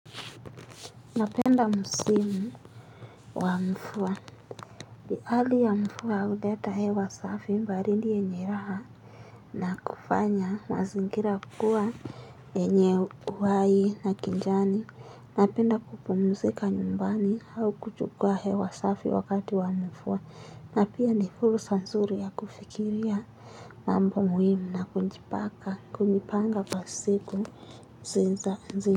Napenda msimu wa mvua. Ni hali ya mvua huleta hewa safi baridi yenye raha na kufanya mazingira kukuwa yenye uhai na kijani. Napenda kupumzika nyumbani au kuchukua hewa safi wakati wa mvua. Na pia ni fursa nzuri ya kufikiria mambo muhimu na kujipanga kuipanga kwa siku ziza nzi.